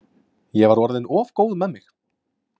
Ég var orðin of góð með mig.